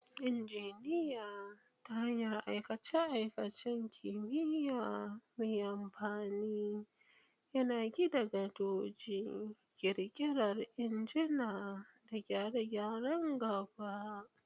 Injiniya, ta hanyar aikace-aikacen kimiyya mai amfani, yana gina gadoji, ƙirƙira injuna, da gyare-gyaren gaba.